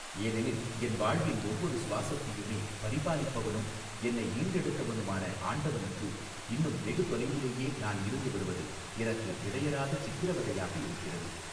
ஏனெனில் என் வாழ்வின் ஒவ்வொரு சுவாசத்தையுமே பரிபாலிப்பவனும் என்னை ஈன்றெடுத்தவனுமான ஆண்டவனுக்கு இன்னும் வெகுதொலைவிலேயே நான் இருந்து வருவது எனக்கு இடையறாத சித்திரவதையாக இருக்கிறது.